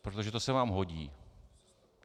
Protože to se vám hodí.